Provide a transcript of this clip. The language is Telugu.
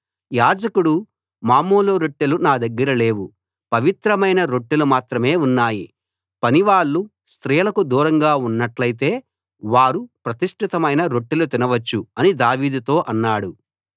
యాజకుడు మామూలు రొట్టెలు నా దగ్గర లేవు పవిత్రమైన రొట్టెలు మాత్రమే ఉన్నాయి పనివాళ్ళు స్త్రీలకు దూరంగా ఉన్నట్టైతే వారు ప్రతిష్ఠితమైన రొట్టెలు తినవచ్చు అని దావీదుతో అన్నాడు